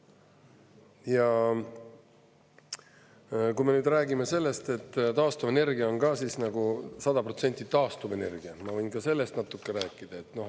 Ja kui me räägime sellest, et taastuvenergia on 100% taastuv energia – ma võin ka sellest natuke rääkida.